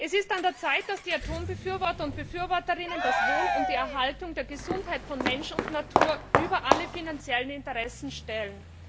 Es ist an der Zeit, dass die Atombefürworter und befürworterinnen das Wohl und die Erhaltung der Gesundheit von Mensch und Natur über alle finanziellen Interessen stellen.